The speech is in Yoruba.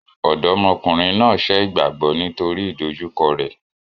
Ọ̀dọ́mọkùnrin náà sẹ́ ìgbàgbọ́ nítorí ìdojúkọ rẹ.